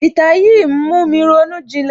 Ìtàn yín ń mú mi ronú ìjìnlẹ̀